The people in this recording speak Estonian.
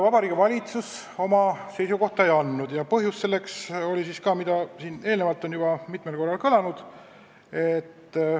Vabariigi Valitsus eelnõu kohta oma seisukohta ei andnud – põhjus on siin juba mitmel korral kõlanud.